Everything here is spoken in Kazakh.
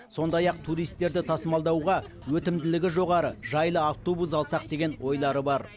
сондай ақ туристерді тасымалдауға өтімділігі жоғары жайлы автобус алсақ деген ойлары бар